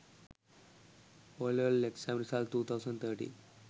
OL exam result 2013